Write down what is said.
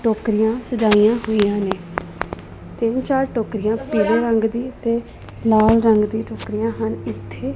ਟੋਕਰੀਆਂ ਸਜਾਈਆਂ ਹੋਈਆਂ ਨੇ ਤਿੰਨ ਚਾਰ ਟੋਕਰੀਆ ਪੀਲੇ ਰੰਗ ਦੀ ਤੇ ਲਾਲ ਰੰਗ ਦੀ ਟੋਕਰੀਆਂ ਹਨ ਇੱਥੇ--